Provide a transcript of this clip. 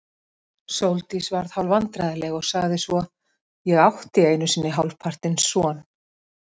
Sóldís varð hálfvandræðaleg og sagði svo: Ég átti einu sinni hálfpartinn son.